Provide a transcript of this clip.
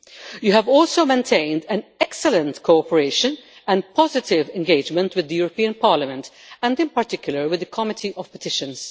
You have also maintained excellent cooperation and a positive engagement with the European Parliament and in particular with the Committee on Petitions.